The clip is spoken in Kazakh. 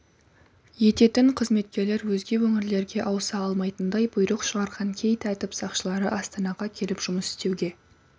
ететін қызметкерлер өзге өңірлерге ауыса алмайтындай бұйрық шығарған кей тәртіп сақшылары астанаға келіп жұмыс істеуге